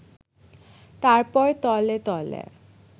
তারপর তলে তলে